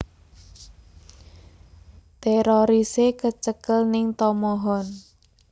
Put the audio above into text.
Terorise kecekel ning Tomohon